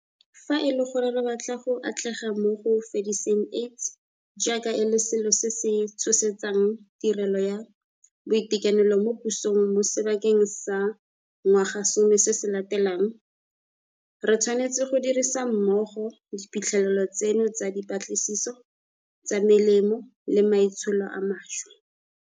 Fa e le gore re batla go atlega mo go fediseng AIDS jaaka e le selo se se tshosetsang tirelo ya boitekanelo mo pusong mo sebakeng sa ngwagasome se se latelang, re tshwanetse go dirisa mmogo diphitlhelelo tseno tsa dipatlisiso tsa melemo le maitsholo a mašwa.